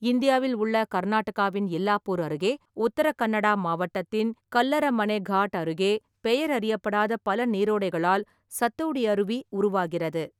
இந்தியாவில் உள்ள கர்நாடகாவின் எல்லாப்பூர் அருகே, உத்தர கன்னடா மாவட்டத்தின் கல்லரமனெ காட் அருகே பெயர் அறியப்படாத பல நீரோடைகளால் சத்தோடி அருவி உருவாகிறது.